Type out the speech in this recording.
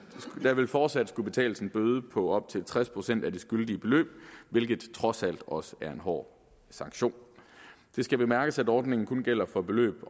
vil fortsat skulle betales en bøde på op til tres procent af det skyldige beløb hvilket trods alt også er en hård sanktion og det skal bemærkes at ordningen kun gælder for beløb